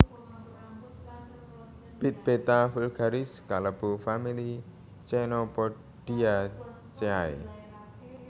Bit Beta vulgaris kalebu famili Chenopodiaceae